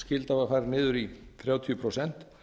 yfirtökuskylda var farin niður í þrjátíu prósent